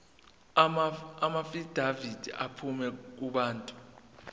amaafidavithi aphuma kubantu